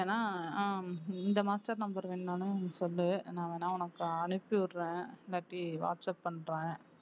வேணா அஹ் இந்த master number வேணும்னாலும் சொல்லு நான் வேணா உனக்கு அனுப்பி விடுறேன் இல்லாட்டி வாட்ஸாப் பண்றேன்